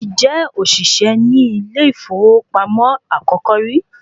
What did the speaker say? Mo ti jẹ́ ọ̀ṣìṣẹ́ ni ilé ìfowópamọ́ àkọ́kọ́ rí